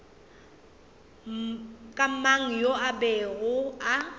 mang yo a bego a